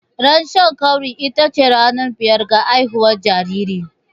Ran Shan ƙauri ita ce ranar biyar ga haihuwar jariri.